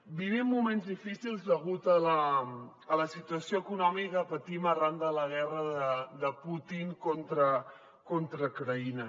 vivim moments difícils degut a la situació econòmica que patim arran de la guerra de putin contra ucraïna